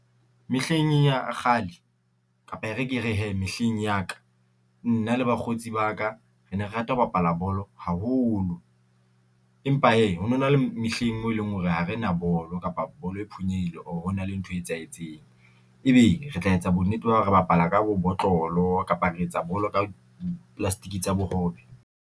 Mehleng ya kgale kapa e re ke re hee, mehleng ya ka nna le bakgotsi ba ka re ne re rata ho bapala bolo haholo, empa hee ho no na le mehleng mo leng hore ha re na bolo kapa bolo e phonyehile, or ho na le ntho e etsahetseng, ebe re tla etsa bonnete ba hore re bapala ka bo botlolo kapa re etsa bolo ka di-plastic tsa bohobe.